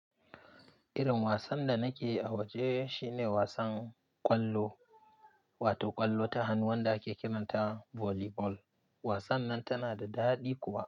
Irin wasan da nake a waje shine wasan ƙwallo, wato ƙwallo ta hannu wanda ake kiranta volleyball. Wasan nan tana da daɗi kuwa.